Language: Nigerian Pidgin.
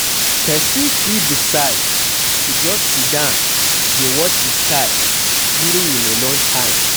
person fit decide to just sidon dey watch di sky during im alone time